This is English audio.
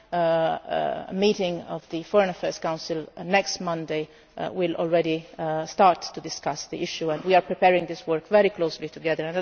At a meeting of the Foreign Affairs Council next Monday we will already start to discuss the issue, and we are preparing this work very closely together.